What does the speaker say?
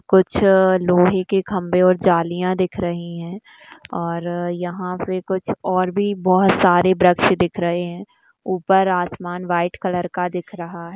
कुछ लोहे के खम्भे और जालियाँ दिख रही हैं और यहाँ पे कुछ और भी बहुत सारे दृश्य दिख रहे है ऊपर आसमान वाइट कलर का दिख रहा है।